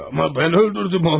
Amma mən öldürdüm onları!